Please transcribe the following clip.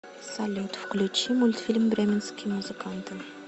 салют включи мультфильм бременские музыканты